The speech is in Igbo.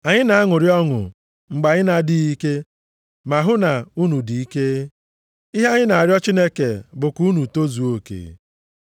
Anyị na-aṅụrị ọṅụ mgbe anyị na-adịghị ike ma hụ na unu dị ike. Ihe anyị na-arịọ Chineke bụ ka unu tozuo oke.